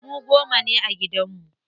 Mu goma ne a gidan mu.